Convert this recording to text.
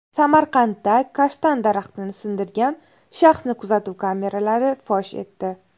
Samarqandda kashtan daraxtini sindirgan shaxsni kuzatuv kameralari fosh etdi.